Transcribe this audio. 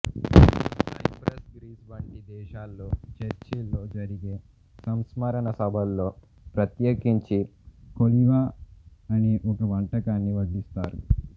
cypress Greece వంటి దేశాల్లో చర్చిల్లో జరిగే సంస్మరణ సభల్లో ప్రత్యేకించి కోలివా అనే ఒక వంటకాన్ని వడ్డిస్తారు